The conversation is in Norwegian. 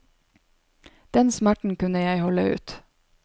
Den smerten kunne jeg holde ut.